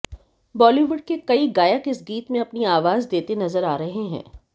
बॉलीवुड के कई गायक इस गीत में अपनी आवाज देते नजर आ रहे हैं